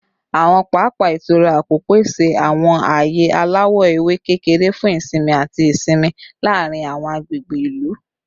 Awọn papa itura apo pese awọn aaye alawọ ewe kekere fun isinmi ati isinmi laarin awọn agbegbe ilu